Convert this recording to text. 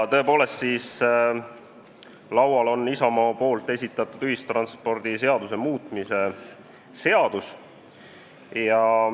Tõepoolest, teie ees on Isamaa fraktsiooni esitatud ühistranspordiseaduse muutmise seaduse eelnõu.